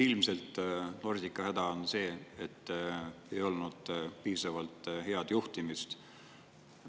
Ilmselt Nordica häda on see, et ei olnud piisavalt head juhtimist.